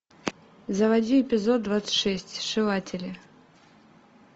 заводи эпизод двадцать шесть сшиватели